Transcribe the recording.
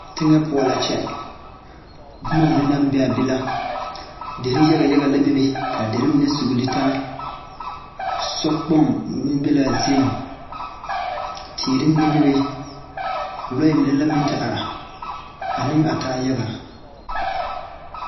Teŋɛ poɔ la kyɛ bomma mine naŋ bee aa be la derre yaga yaga la bebe ka derre mine sugle taa sokpoŋ meŋ be laa zeeŋ teere mine bebe lɔɛ mine la meŋ te are aneŋ a taa yaga.